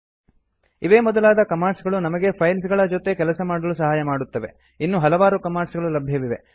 ಇವೇ ಮೊದಲಾದ ಕಮಾಂಡ್ಸ್ ಗಳು ನಮಗೆ ಫೈಲ್ಸ್ ಗಳ ಜೊತೆ ಕೆಲಸ ಮಾಡಲು ಸಹಾಯ ಮಾಡುತ್ತವೆ ಇನ್ನು ಹಲವಾರು ಕಮಾಂಡ್ಸ್ ಗಳು ಲಬ್ಯವಿದೆ